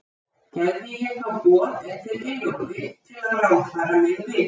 Gerði ég þá boð eftir Eyjólfi, til að ráðfæra mig við hann.